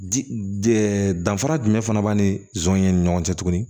Di danfara jumɛn fana b'a ni zɔnɲɛ ni ɲɔgɔn cɛ tuguni